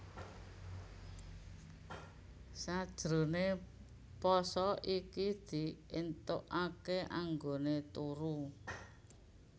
Sajroné pasa iki di éntokaké anggoné turu